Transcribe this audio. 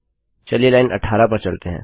चलिए लाइन 18 पर चलते हैं